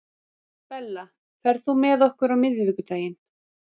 Bella, ferð þú með okkur á miðvikudaginn?